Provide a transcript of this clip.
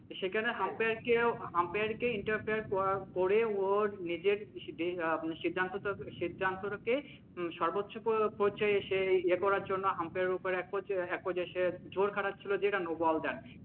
সেখানেও আম্পায়ারকেও আম্পায়ারকে ইন্টারফেয়ার করার পরে ওর নিজের যে সিদ্ধান্ত সিদ্ধান্তটাকে সর্বোচ্চ পর্যায়ে এসে এ করার জন্য আম্পায়ারের উপর এক একপর্যায়ে একপর্যায়ে সে জোর খাটাছিলো যে এটাকে no ball ডাকে।